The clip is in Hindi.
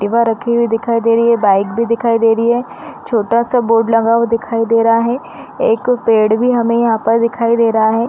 एक्टिवा रखी हुई दिखाई दे रही है। बाइक भी दिखाई दे रही है। छोटासा बोर्ड लगा हुआ दिखाई दे रहा है। एक पेड़ भी हमें यहाँ पर दिखाई दे रहा है।